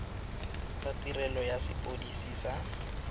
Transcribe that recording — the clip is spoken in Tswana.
tsa tirelo ya sepodisi sa